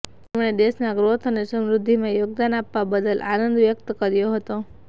તેમણે દેશના ગ્રોથ અને સમૃદ્ધિમાં યોગદાન આપવા બદલ આનંદ વ્યક્ત કર્યો હતો